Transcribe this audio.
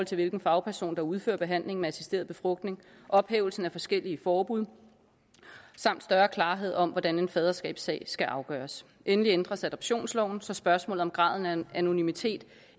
til hvilken fagperson der udfører behandlingen med assisteret befrugtning ophævelsen af forskellige forbud samt større klarhed om hvordan en faderskabssag skal afgøres endelig ændres adoptionsloven så spørgsmålet om graden af anonymitet